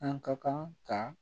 An ka kan ka